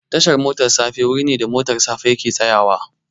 Tashar motar safa wuri ne da motar safa yake tsayawa